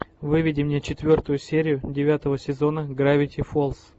выведи мне четвертую серию девятого сезона гравити фолз